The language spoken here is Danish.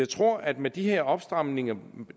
tror at med de her opstramninger